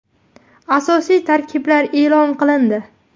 Asosiy tarkiblar e’lon qilindi.